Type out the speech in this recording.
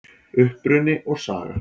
Uppruni og saga